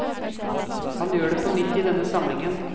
Han gjør det på nytt i denne samlingen.